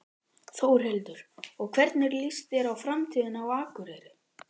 Þórhildur: Og hvernig líst þér á framtíðina á Akureyri?